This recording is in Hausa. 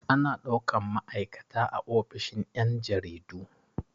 Ana ɗaukan ma'aikata a ofishin yan' jaridu.